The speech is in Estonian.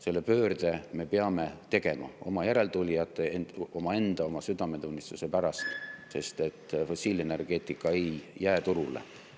Selle pöörde me peame tegema oma järeltulijate, omaenda südametunnistuse pärast, sest fossiilenergeetika ei jää turule.